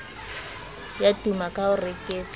ya tuma ka ho reketla